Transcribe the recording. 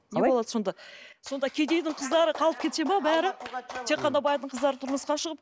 не болады сонда сонда кедейдің қыздары қалып кетеді ме бәрі тек қана байдың қыздары тұрмысқа шығып